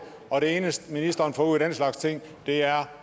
og det eneste ministeren får ud af den slags ting er